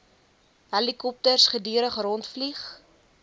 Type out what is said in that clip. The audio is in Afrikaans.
helikopters gedurig rondvlieg